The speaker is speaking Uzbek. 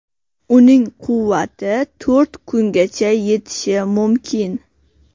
Uning quvvati to‘rt kungacha yetishi mumkin.